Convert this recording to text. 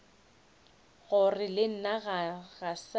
gore le nna ga sa